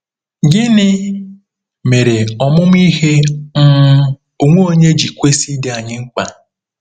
Gịnị mere ọmụmụ ihe um onwe onye ji kwesị ịdị anyị mkpa?